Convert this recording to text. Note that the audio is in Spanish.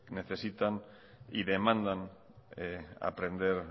necesitan y demandan aprender